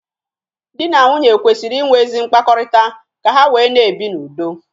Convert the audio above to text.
Di na nwunye kwesịrị inwe ezi mkpakọrịta ka ha wee na-ebi n'udo.